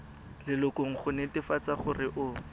lelokong go netefatsa gore o